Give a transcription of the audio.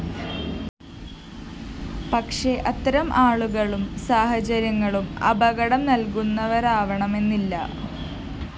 പക്ഷേ അത്തരം ആളുകളും സാഹചര്യങ്ങളും അപകടം നല്‍കുന്നവരാവണമെന്നില്ല